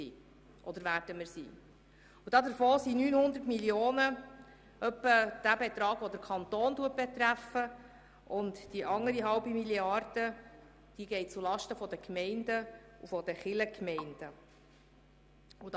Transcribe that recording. Davon beträfen rund 900 Mio. Franken den Kanton, während die anderen 0,5 Mrd. Franken zulasten der Gemeinden und Kirchgemeinden ginge.